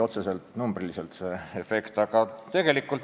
Otseselt, numbriliselt see efekt jutuks ei olnud.